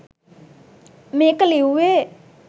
මේක ලිව්වේ